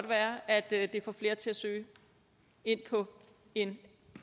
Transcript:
være at det det får flere til at søge ind på en